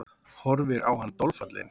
Horfir á hann dolfallin.